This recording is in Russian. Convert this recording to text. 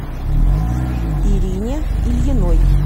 ирине ильиной